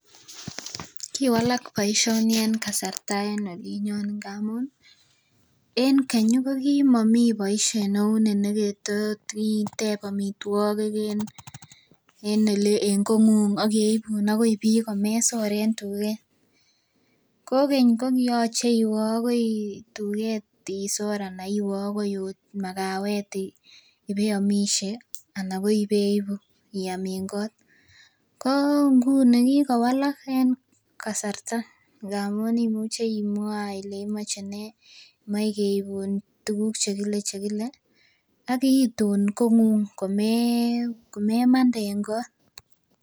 Kiwalak boisioni en kasarta en oli. En olinyon ko kokimogimi ngamun en keny kiomomi boisioni ye totiteb amituokik en ele kokwet akeibun komesor en tuget. Kogeny koyoche iwe akoi tuget isor anan iwe akoi magawet ih ipeamishe anan ibeibu iam en kot ko inguni kikowalakak kasarta ndamuun imuche imwaa Ile imoche nee , imochekeibun nee tuguk chekiome, chekile, agiituun, kong'ung komemande en kot